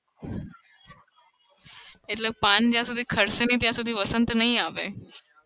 એટલે પાન જ્યાં સુધી ખરશે નઈ ત્યાં સુધી વસંત નઈ આવે.